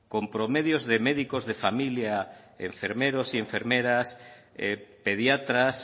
con promedios de médicos de familia enfermeros y enfermeras pediatras